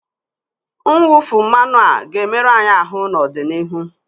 Mwụfu mmanụ a ga-emerụ anyị ahụ n'ọdịnihu